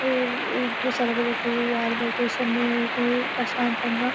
ఈ సెలవులకి ఆ లొకేషన్ ప్రశాంతంగా --